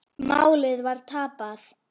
Málið var tapað.